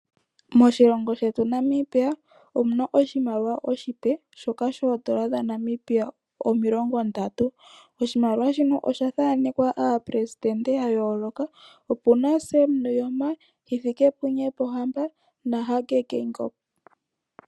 Moshilongo shetu Namibia omu na oshimaliwa oshipe, shoka shoodola dhaNamibia omilongondatu. Oshimaliwa shino osha thaanekwa ooperesidente ya yooloka. Oku na tatekulu Sam Nuujoma, TK. Hifikepunye Pohamba naTK. Hage Geingob.